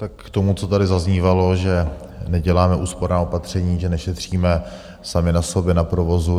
Tak k tomu, co tady zaznívalo, že neděláme úsporná opatření, že nešetříme sami na sobě, na provozu.